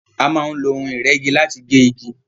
A máa ń fi ohun ìrẹ́gi láti gé ìgi